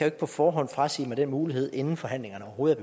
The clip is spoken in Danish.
ikke på forhånd frasige mig den mulighed inden forhandlingerne overhovedet